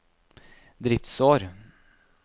driftsår